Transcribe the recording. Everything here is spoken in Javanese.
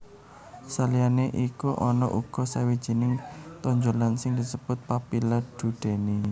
Saliyané iku ana uga sawijining tonjolan sing disebut papilla duodeni